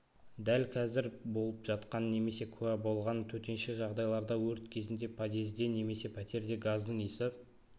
дәл қазір болып жатқан немесе куә болған төтенше жағдайларда өрт кезінде подъезде немесе пәтерде газдың иісі